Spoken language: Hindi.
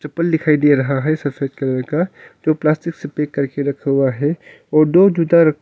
चप्पल दिखाई दे रहा है सफेद कलर का जो प्लास्टिक से पैक करके रखा हुआ है और दो जूता--